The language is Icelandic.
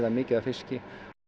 mikið af fiski